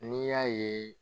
N'i y'a ye